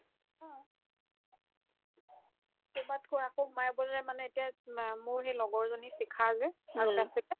তোমাতকৈ আকৌ ময়ে বোলে মানে এতিয়া মে মোৰ সেই লগৰজনী শিখা যে আগতে আছিল যে